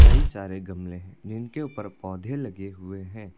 कई सारे गमले हैं जिनके ऊपर पौधे लगे हुए हैं।